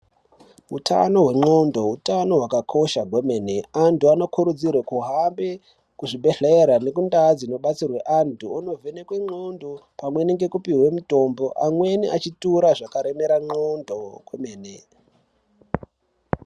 Hutano hwendxondo hutano hwakakosha kwemene vantu vanokurudzirwa kuhambe kuzvibhedhlera nekundao dzinobatsirwa vantu vonovhenekwa ndxondo pamwe nekupihwa mitombo amweni achitora zvakaremera ndxondo kwemene .